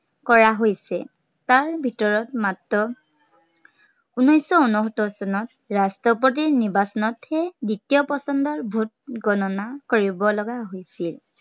কৰা হৈছে। তাৰ ভিতৰত মাত্ৰ, উনেচশ উনোসত্তৰ চনত ৰাষ্ট্ৰপতিৰ নিৰ্বাচনতহে দিত্বীয় পচন্দৰ vote গননা কৰিব লগা হৈছিল।